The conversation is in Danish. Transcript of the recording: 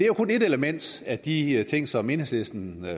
jo kun et element af de ting som enhedslisten